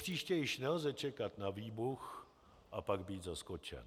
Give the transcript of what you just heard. Propříště již nelze čekat na výbuch a pak být zaskočen.